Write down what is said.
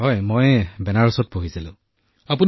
ডঃ মদন মণিঃ হয় মই বেনাৰসত পঢ়িছোঁ ছাৰ